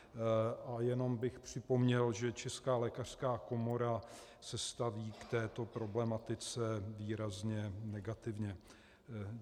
A jenom bych připomněl, že Česká lékařská komora se staví k této problematice výrazně negativně.